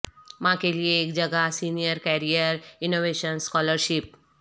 ماں کے لئے ایک جگہ سینئر کیریئر انوویشن اسکالرشپ